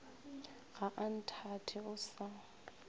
ga a nthate o sa